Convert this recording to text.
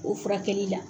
O furakɛli la